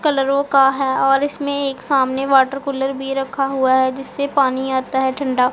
कलरों का है और इसमें एक सामने वाटर कूलर भी रखा हुआ है जिससे पानी आता है ठंडा--